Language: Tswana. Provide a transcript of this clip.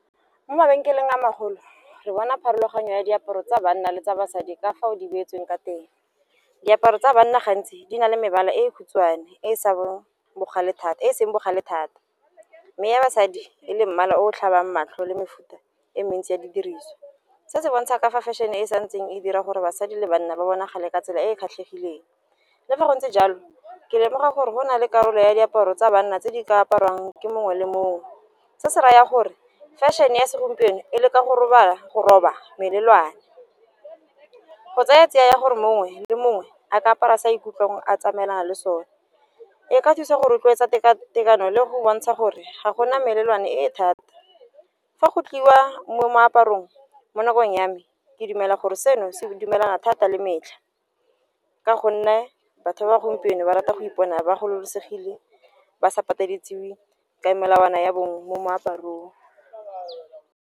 Mo mabenkeleng a magolo re bona pharologanyo ya diaparo tsa banna le tsa basadi ka fao di beetsweng ka teng. Diaparo tsa banna gantsi di na le mebala e khutshwane e seng bogale thata, mme ya basadi e le mmala o tlhabang matlho le mefuta e e mentsi ya didiriso. Se se bontsha ka fa fashion-e e sa ntseng e dira gore basadi le banna ba bonagale ka tsela e e kgatlhegileng, le fa go ntse jalo ke lemoga gore go na le karolo ya diaparo tsa banna tse di ka aparwang ke mongwe le mongwe. Se se rayang gore fashion-e ya segompieno e le ka go roba melelwane, go tsaya tsiya gore mongwe le mongwe a ka apara sa ikutlwang a tsamaelana le sone, e ka thusa go rotloetsa tekatekano le go bontsha gore ga gona melelwane e thata. Fa go tliwa mo moaparong mo nakong ya me ke dumela gore seno se dumelana thata le metlha, ka gonne batho ba gompieno ba rata go ipona ba kgololosegile ba sa pateleditswe ka melawana ya bongwe mo moaparong.